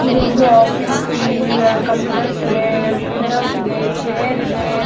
ಇದು ಒಂದು ಆಫೀಸ್ . ಇಲ್ಲಿ ಎರಡು ಕಂಪ್ಯೂಟರ್ಸ್ ಇದೆ ಎರಡು ಪ್ರಿಂಟರ್ಸ್ ಇದೆ ಎರಡ್ ಚೇರ್ ಇದೆ.